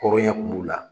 Hɔrɔnya kun b'u la